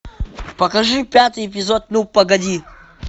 покажи пятый эпизод ну погоди